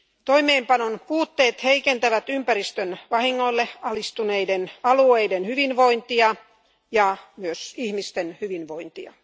Toimeenpanon puutteet heikentävät ympäristön vahingoille alistuneiden alueiden hyvinvointia ja myös ihmisten hyvinvointia.